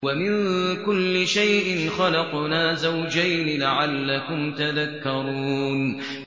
وَمِن كُلِّ شَيْءٍ خَلَقْنَا زَوْجَيْنِ لَعَلَّكُمْ تَذَكَّرُونَ